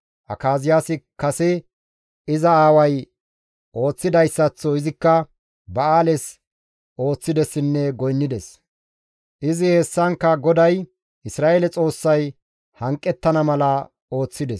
Akaziyaasi kase iza aaway ooththidayssaththo izikka Ba7aales ooththidessinne goynnides; izi hessankka GODAY, Isra7eele Xoossay hanqettana mala ooththides.